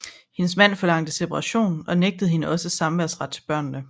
Hendes mand forlangte separation og nægtede hende også samværsret til børnene